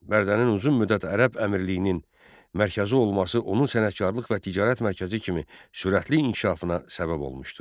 Bərdənin uzun müddət ərəb əmirliyinin mərkəzi olması onun sənətkarlıq və ticarət mərkəzi kimi sürətli inkişafına səbəb olmuşdu.